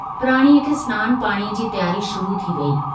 प्राणीअ खे स्नान पाणीअ जी तियारी शुरु थी वई।